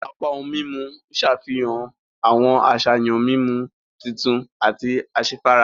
Apá ohùn mímú n ṣàfihàn awọn àṣàyàn mímú tuntun àti asefara.